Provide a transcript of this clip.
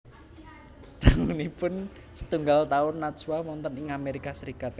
Dangunipun setunggal taun Najwa wonten ing Amérika Sarékat